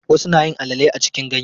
Wasu nayin alale a cikin ganye.